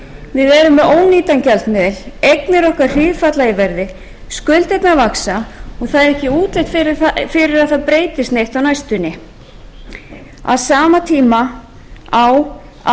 vaxa og það er ekki útlit fyrir að það breytist neitt á næstunni á sama tíma á að minnka gífurlegan fjárlagahalla með því að blóðmjólka fyrirtækin